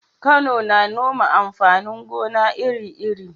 Kano na noma amfanin gona iri-iri.